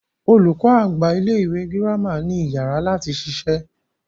Olùkọ àgbà ilẹ ìwé gírámà ni iyàrá lati ṣiṣẹ́.